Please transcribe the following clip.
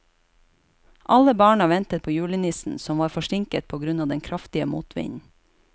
Alle barna ventet på julenissen, som var forsinket på grunn av den kraftige motvinden.